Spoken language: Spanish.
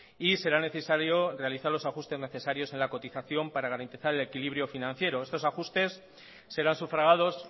y será necesario realizar los ajustes necesarios en la cotización para garantizar el equilibrio financiero estos ajustes serán sufragados